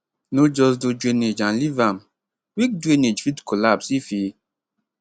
no just do drainage and leave am weak drainage fit collapse if e